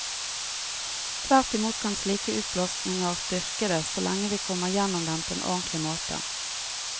Tvert imot kan slike utblåsninger styrke det, så lenge vi kommer gjennom dem på en ordentlig måte.